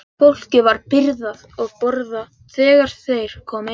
Fólkið var byrjað að borða þegar þeir komu inn.